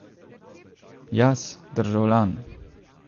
Jaz, državljan.